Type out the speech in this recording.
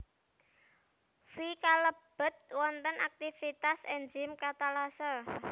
Fe kalebet wonten aktivitas Enzim Katalase